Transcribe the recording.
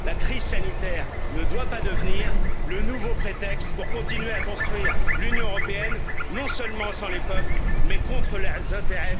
La crise sanitaire ne doit pas devenir le nouveau prétexte pour continuer à construire l'Union européenne non seulement sans les peuples, mais contre leurs intérêts fondamentaux.